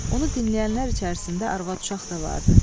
Onu dinləyənlər içərisində arvad uşaq da vardı.